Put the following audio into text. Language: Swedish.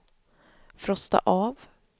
frosta av